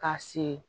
Ka se